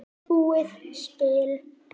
búið spil.